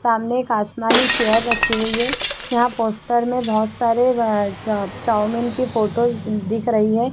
सामने एक आसमानी चेयर रखी हुई है यहाँ पोस्टर मे बहोत सारे चाउमीन की फोटो दिख रही हैं।